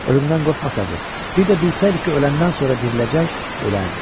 Ölümdən qorxmasaydı, bir də bilsəydi ki, öləndən sonra diriləcək, ölərdi.